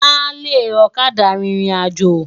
Álé òkâdá ririnájô